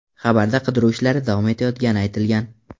Xabarda qidiruv ishlari davom etayotgani aytilgan.